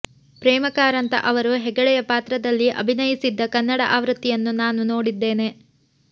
ಪ್ರೇಮ ಕಾರಂತ ಅವರು ಹೆಗಡೆಯ ಪಾತ್ರದಲ್ಲಿ ಅಭಿನಯಿಸಿದ್ದ ಕನ್ನಡ ಆವೃತ್ತಿಯನ್ನು ನಾನೂ ನೋಡಿದ್ದೆ